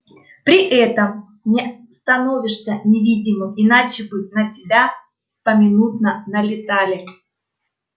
при этом не становишься невидимым иначе бы на тебя поминутно налетали